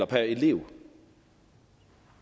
per elev